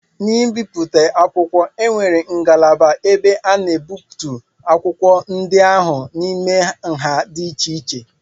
N'ibipụta akwụkwọ, e nwere ngalaba ebe a na-egbutu akwụkwọ ndị ahụ n'ime nha di iche-iche